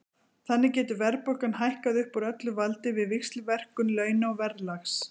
Þannig getur verðbólgan hækkað upp úr öllu valdi við víxlverkun launa og verðlags.